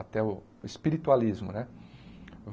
Até o espiritualismo, né?